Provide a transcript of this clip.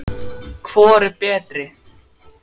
Hvor er betri?